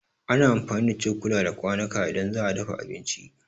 Ana amfani da cokula da kwanuka idan za a dafa abinci.